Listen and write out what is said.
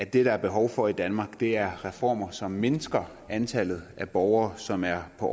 det der er behov for i danmark er reformer som mindsker antallet af borgere som er på